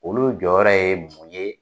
Olu jɔyɔrɔ ye mun ye?